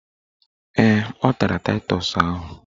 Ee, ọ tara taịtọs ahụ.